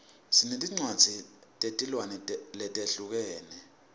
sinetincwadzi tetilwimi letihlukene